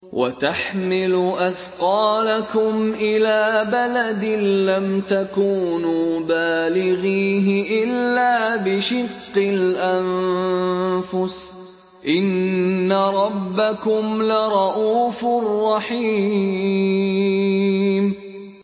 وَتَحْمِلُ أَثْقَالَكُمْ إِلَىٰ بَلَدٍ لَّمْ تَكُونُوا بَالِغِيهِ إِلَّا بِشِقِّ الْأَنفُسِ ۚ إِنَّ رَبَّكُمْ لَرَءُوفٌ رَّحِيمٌ